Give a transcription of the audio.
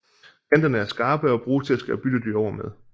Kanterne er skarpe og bruges til at skære byttedyr over med